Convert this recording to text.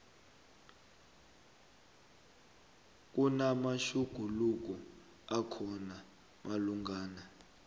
kunamatjhuguluko akhona malungana